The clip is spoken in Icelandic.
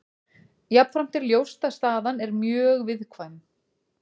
Jafnframt er ljóst að staðan er mjög viðkvæm.